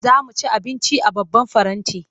Za mu ci abinci a babban faranti.